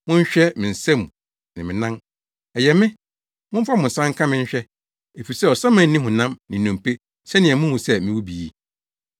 Monhwɛ me nsam ne me nan. Ɛyɛ me! Momfa mo nsa nka me nhwɛ; efisɛ ɔsaman nni honam ne nnompe sɛnea muhu sɛ mewɔ bi yi.”